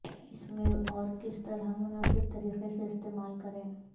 اس میں اور کس طرح مناسب طریقے سے استعمال کریں